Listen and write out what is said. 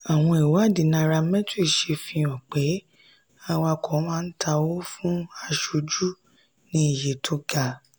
àwọn ìwádìí nairametrics ṣe fi hàn pé awakọ̀ máa ta owó fún aṣojú ní iye tó ga.